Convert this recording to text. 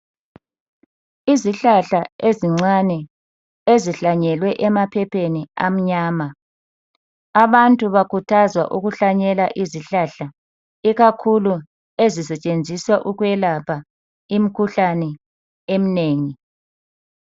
Izihlahla ezincane ezihlanyelwe emaphepheni amnyama abantu bakhuthazwa ukuhlanyela izihlahla ikakhulu ezisetshenziswa ukuyelapha imkhuhlane emnengi.